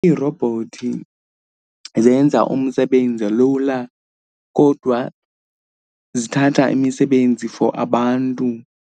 Iirobhothi zenza umsebenzi lula kodwa zithatha imisebenzi for abantu.